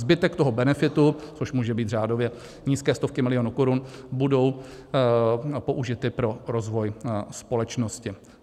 Zbytek toho benefitu, což můžou být řádově nízké stovky milionů korun, budou použity pro rozvoj společnosti.